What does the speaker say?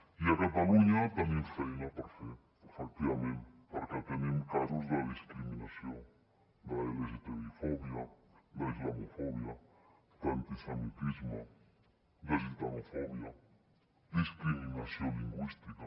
i a catalunya tenim feina per fer efectivament perquè tenim casos de discriminació d’lgtbifòbia d’islamofòbia d’antisemitisme de gitanofòbia discriminació lingüística